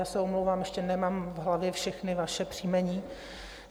Já se omlouvám, ještě nemám v hlavě všechna vaše příjmení.